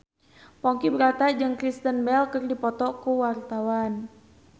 Ponky Brata jeung Kristen Bell keur dipoto ku wartawan